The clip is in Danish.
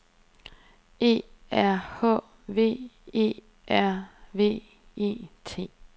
E R H V E R V E T